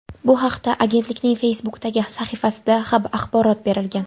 Bu haqda agentlikning Facebook’dagi sahifasida axborot berilgan .